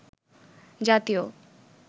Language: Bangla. জাতীয়